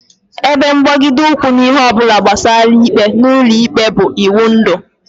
Ebe mgbagide ụkwụ n'ihe ọ bụla gbasara ikpe n'ụlọikpe bụ iwundu